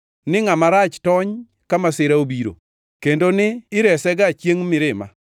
ni ngʼama rach tony ka masira obiro kendo ni iresega chiengʼ mirima?